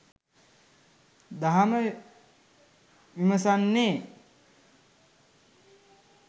දහම විමසන්නේ